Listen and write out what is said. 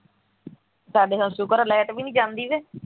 ਸਾਡੇ ਹੱਸੂ ਘਰੋ ਲਾਈਟ ਵੀ ਨਹੀਂ ਜਾਂਦੇ ਵੇ